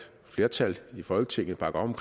et flertal i folketinget bakker op